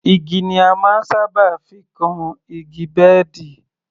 Igi ni a máa ń sábà fi kan igi bẹ́ẹ̀dì